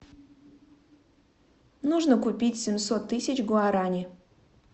нужно купить семьсот тысяч гуарани